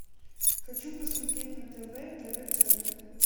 хочу посмотреть на тв тв центр